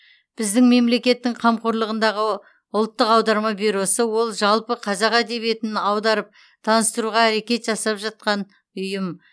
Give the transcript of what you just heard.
біздің мемлекеттің қамқорлығындағы ұлттық аударма бюросы ол жалпы қазақ әдебиетін аударып таныстыруға әрекет жасап жатқан ұйым